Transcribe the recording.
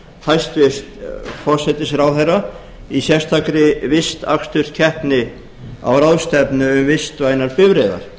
hæstvirtur forsætisráðherra í sérstakri vistaksturskeppni á ráðstefnu um vistvænar bifreiðar